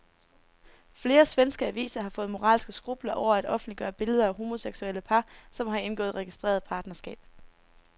Flere svenske aviser har fået moralske skrupler over at offentliggøre billeder af homoseksuelle par, som har indgået registreret partnerskab.